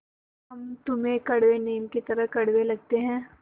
या हम तुम्हें कड़वे नीम की तरह कड़वे लगते हैं